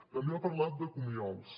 també ha parlat de comiols